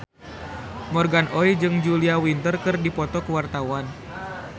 Morgan Oey jeung Julia Winter keur dipoto ku wartawan